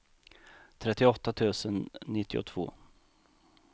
trettioåtta tusen nittiotvå